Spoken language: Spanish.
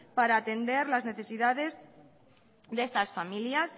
para atender las necesidades de estas familias